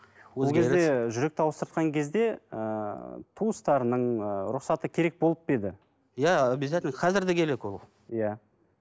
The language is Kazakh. жүректі ауыстыртқан кезде ыыы туыстарының ыыы рұқсаты керек болып па еді иә объязательно қазір де керек ол иә